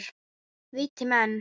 Viti menn!